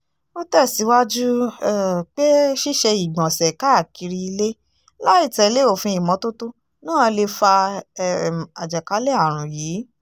ó tẹ̀síwájú um pé ṣíṣe ìgbọ̀nsẹ̀ káàkiri ilé láì tẹ̀lé òfin ìmọ́tótó náà lè fa um àjàkálẹ̀ àrùn yìí